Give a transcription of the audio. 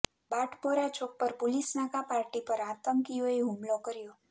બાટપોરા ચોક પર પુલિસ નાકા પાર્ટી પર આંતકીઓએ હુમલો કર્યો